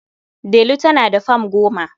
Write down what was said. Delu tana da fam goma.